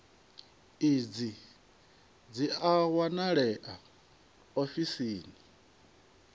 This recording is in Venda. idzi dzi a wanalea ofisini